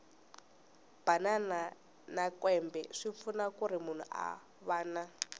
banana na kwembe swipfuna kuri munhu a vana